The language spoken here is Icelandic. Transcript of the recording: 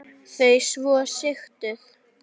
Þau svo sigtuð.